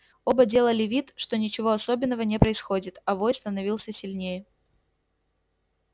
оба делали вид что ничего особенного не происходит а вой становился сильнее